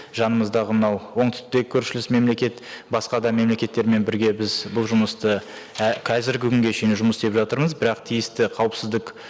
жанымыздағы мынау оңтүстікте көршілес мемлекет басқа да мемлекеттермен бірге біз бұл жұмысты қазіргі күнге шейін жұмыс істеп жатырмыз бірақ тиісті қауіпсіздік